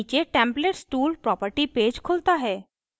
नीचे templates tool property page खुलता है